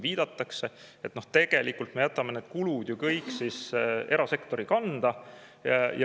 Nii et tegelikult me jätame kulud kõik erasektori kanda.